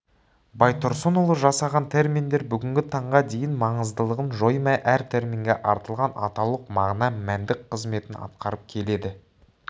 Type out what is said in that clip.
байтұрсынұлы жасаған терминдер бүгінгі таңға дейін маңыздылығын жоймай әр терминге артылған атаулық мағына мәндік қызметін атқарып келеді